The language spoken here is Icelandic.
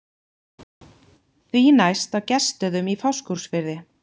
Því næst á Gestsstöðum í Fáskrúðsfirði.